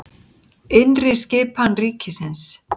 Innri skipan ríkisins